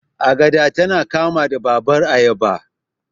Agada tana kama da babbar ayaba.